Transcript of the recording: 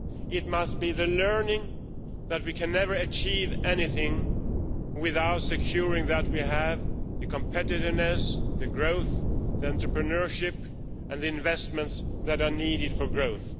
It must be learned that we can never achieve anything without ensuring that we have the competitiveness, the growth, the entrepreneurship and the investments that are needed for growth.